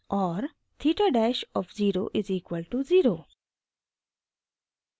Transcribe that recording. theta dash of zero is equal to 0